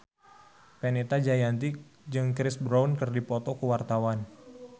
Fenita Jayanti jeung Chris Brown keur dipoto ku wartawan